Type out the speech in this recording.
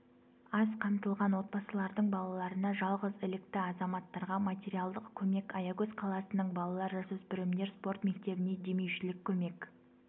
аз қамтылған отбасылардың балаларына жалғыз ілікті азаматтарға материалдық көмек аягөз қаласының балалар-жасөспірімдер спорт мектебіне демеушілік көмек